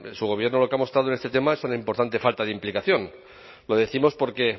su gobierno lo que ha mostrado en este tema es una importante falta de implicación lo décimos porque